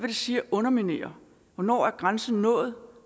det sige at underminere hvornår er grænsen nået